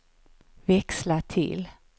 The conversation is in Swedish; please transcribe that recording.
växla till